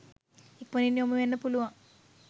ඉක්මණින් යොමුවෙන්න පුළුවන්